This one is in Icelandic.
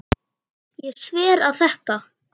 Ég sver að þetta.